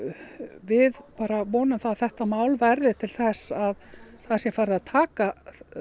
við bara vonum að þetta mál verði til þess að það sé farið að taka